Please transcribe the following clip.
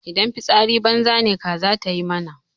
Idan fitsari banza ne kaza ta yi mana.